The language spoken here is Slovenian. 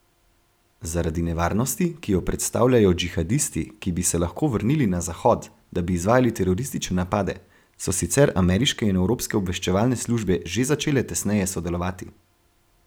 Zaradi nevarnosti, ki jo predstavljajo džihadisti, ki bi se lahko vrnili na Zahod, da bi izvajali teroristične napade, so sicer ameriške in evropske obveščevalne službe že začele tesneje sodelovati.